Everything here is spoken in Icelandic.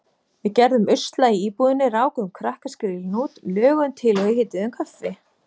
Við gerðum usla í íbúðinni, rákum krakkaskrílinn út, löguðum til og hituðum kaffi.